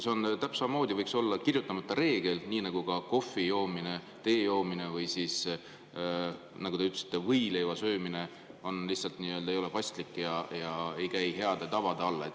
See võiks samamoodi olla kirjutamata reegel, nii nagu ka see, et kohvi joomine, tee joomine, või nagu te ütlesite, võileiva söömine lihtsalt ei ole paslik ja ei käi heade tavade alla.